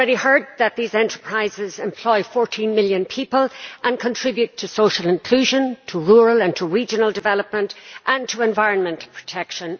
We have heard that these enterprises employ 14 million people and contribute to social inclusion, rural and regional development and environmental protection.